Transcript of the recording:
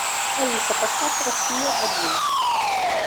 алиса поставь россия один